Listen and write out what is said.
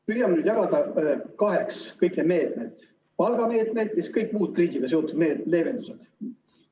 Püüame nüüd jagada kaheks kõik need meetmed: palgameetmed ja kõik muud kriisiga seotud leevendused.